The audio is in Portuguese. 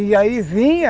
E aí vinha